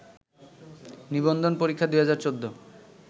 নিবন্ধন পরীক্ষা ২০১৪